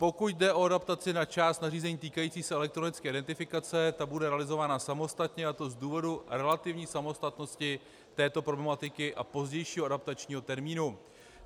Pokud jde o adaptaci na část nařízení týkajících se elektronické identifikace, ta bude realizována samostatně, a to z důvodu relativní samostatnosti této problematiky a pozdějšího adaptačního termínu.